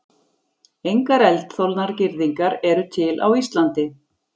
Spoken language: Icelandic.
Engar eldþolnar girðingar eru til á Íslandi.